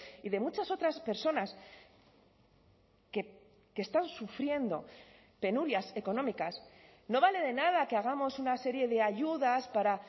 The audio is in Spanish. y de muchas otras personas que están sufriendo penurias económicas no vale de nada que hagamos una serie de ayudas para